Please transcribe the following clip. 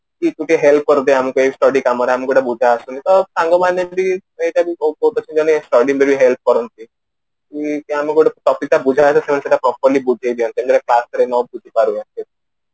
କି ଗୋଟେ help କରିଦେ ଆମ ପାଇଁ study କାମରେ ଆମକୁ ଗୋଟେ ଆସୁନି ତ ସାଙ୍ଗମାନେ ଏମିତେ ଏଇଟା ବି ସ୍ଟଡି study ଭଳି help କରନ୍ତି କି ସେମାନଙ୍କୁ ଗୋଟେ topic ଟେ ବୁଝାଗଲେ ସେମାନେ ସେଟା properly ବୁଝେଇ ଦିଅନ୍ତି ବୁଝି ପାରିବ